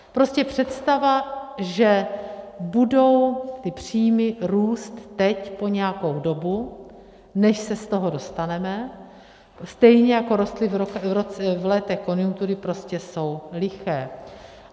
Prostě představa, že budou ty příjmy růst teď po nějakou dobu, než se z toho dostaneme, stejně jako rostly v letech konjunktury, prostě jsou liché.